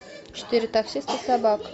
четыре таксиста и собака